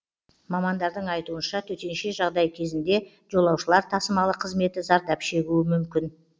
мамандардың айтуынша төтенше жағдай кезінде жолаушылар тасымалы қызметі зардап шегуі мүмкін